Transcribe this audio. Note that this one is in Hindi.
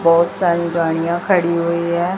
बहुत सारी गाड़ियां खड़ी हुई है।